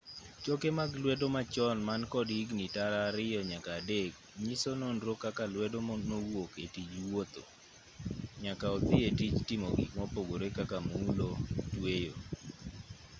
choke mag lwedo machon man kod higni tara ariyo nyaka adek nyiso nonro kaka lwedo nowuok etij wuotho nyaka odhi etij timo gik mopogore kaka mulo tweyo